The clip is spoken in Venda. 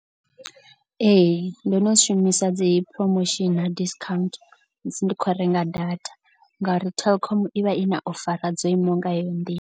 Ee ndo no zwi shumisa dzi promotion na discount musi ndi khou renga data. Ngauri Telkom i vha i na o fara dzo imaho nga heyo nḓila.